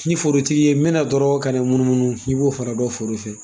N ye forotigi ye, n bɛna dɔrɔɔn kan'i munumunu. I b'o fɛnɛ dɔn foro in fɛ.